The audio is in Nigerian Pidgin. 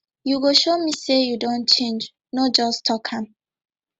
you go show me say you don change no just talk am